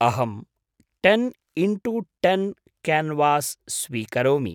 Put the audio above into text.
अहं ten into ten canvas स्वीकरोमि।